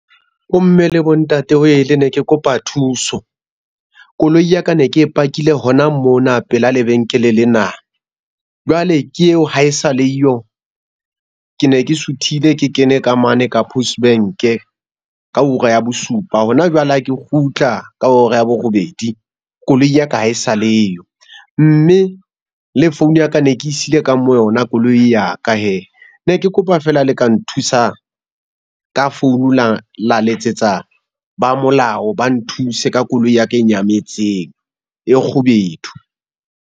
Bo mme le bo ntate ne ke kopa thuso. Koloi ya ka ne ke e pakile hona mona pela lebenkele lena. Jwale ke eo ha e sa le yo. Ke ne ke suthile ke kene ka mane ka Post Bank-e ka hora ya bosupa. Hona jwale ha ke kgutla ka hora ya borobedi koloi ya ka ha e sa le yo. Mme le phone ya ka ne ke e siile ka mo yona koloi ya ka hee. Ne ke kopa feela le ka nthusa ka founu la letsetsa ba molao ba nthuse ka koloi ya ka er nyametseng, e kgubedu?